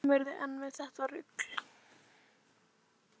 Kemurðu enn með þetta rugl!